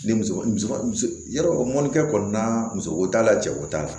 Ne muso yarɔ mɔnikɛ kɔni na musoko t'a la cɛko t'a la